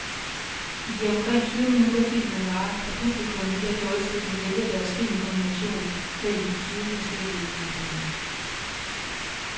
I de omkring tyve minutter, filmen varer, kan publikum via joysticken vælge deres filmkombination mellem de tyve forskellige udviklinger.